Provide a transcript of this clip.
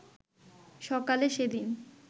সকালে সেদিন